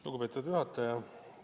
Lugupeetud juhataja!